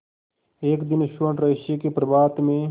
एक दिन स्वर्णरहस्य के प्रभात में